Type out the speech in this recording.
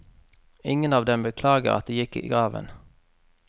Ingen av dem beklager at det gikk i graven.